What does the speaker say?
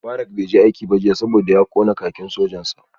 Mubarak bai je aiki jiya ba saboda ya kona kakin sojan sa